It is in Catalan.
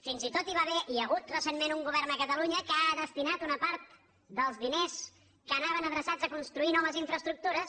fins i tot hi va haver hi ha hagut recentment un govern a catalunya que ha destinat una part dels diners que anaven adreçats a construir noves infraestructures